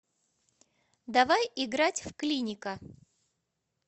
давай играть в клиника